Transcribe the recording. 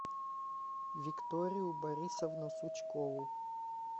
викторию борисовну сучкову